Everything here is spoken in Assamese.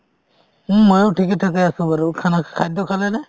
উম মইও ঠিকে ঠাকে আছো বাৰু , খানা খাদ্য খালেনে ?